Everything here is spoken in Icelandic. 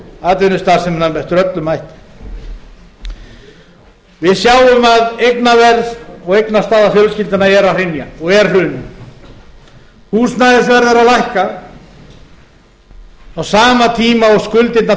atvinnustarfsemina með öllum hætti við sjáum að eignaverð og eignastaða fjölskyldnanna er að hrynja og er hrunin húsnæðisverð er að lækka á sama tíma og skuldirnar telja